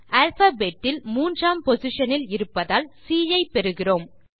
alphabet இல் மூன்றாம் position இல் இருப்பதால் சி ஐ பெறுகிறோம்